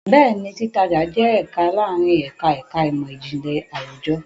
Bẹ́ẹ̀ni, títajà jẹ́ ẹ̀ka láàárín ẹ̀ka ẹ̀ka ìmọ̀ Ìjìnlẹ̀ Àwùjọ.